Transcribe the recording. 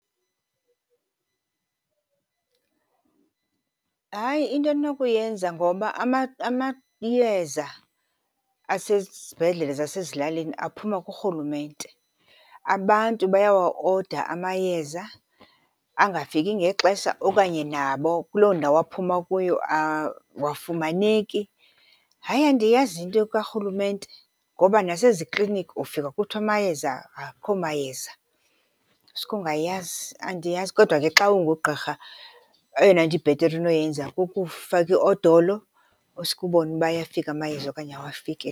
Hayi, into endinokuyenza ngoba amayeza asezibhedlele zasezilalini aphuma kurhulumente. Abantu bayawa-order amayeza angafiki ngexesha okanye nabo kuloo ndawo aphuma kuyo awafumaneki. Hayi, andiyazi into karhulumente ngoba nasezikliniki ufika kuthiwa amayeza, akho mayeza. Uske ungayazi, andiyazi. Kodwa ke xa ungugqirha eyona nto ibhetere unoyenza kukufaka iodolo uske ubone uba ayafika amayeza okanye awafiki.